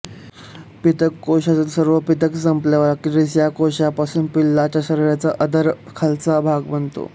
पीतक कोशातील सर्व पीतक संपल्यावर अखेरीस या कोशापासून पिल्लाच्या शरीराचा अधर खालचा भाग बनतो